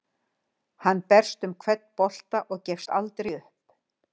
Hann berst um hvern bolta og gefst aldrei upp.